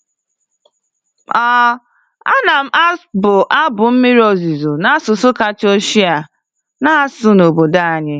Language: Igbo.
um A na-abụ abụ mmiri ozuzo n'asụsụ kacha ochie a na-asụ n'obodo anyị.